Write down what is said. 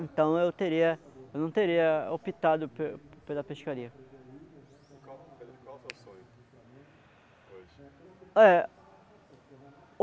Então eu teria, eu não teria optado pe pela pescaria. Pedro, qual é seu sonho? Hoje.